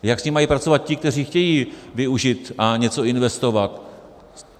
Jak s ní mají pracovat ti, kteří chtějí využít a něco investovat?